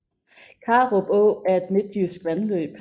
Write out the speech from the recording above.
Karup Å er et midtjysk vandløb